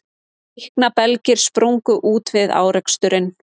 Líknarbelgir sprungu út við áreksturinn